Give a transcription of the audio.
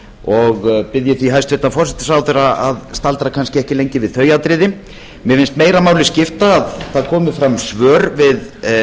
og bið ég því hæstvirtur forsætisráðherra að staldra kannski ekki lengi við þau atriði mér finnst meira máli skipta að það komi fram svör við